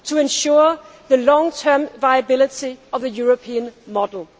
to ensure the long term viability of the European model.